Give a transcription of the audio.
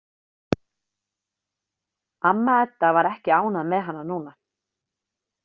Amma Edda væri ekki ánægð með hana núna.